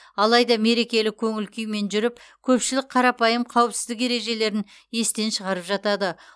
алайда мерекелік көңіл күймен жүріп көпшілік қарапайым қауіпсіздік ережелерін естен шығарып жатады